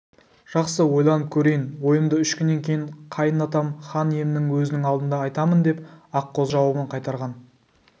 жақсы ойланып көрейін ойымды үш күннен кейін қайын атам хан иемнің өзінің алдында айтамындеп аққозы жауабын қайтарған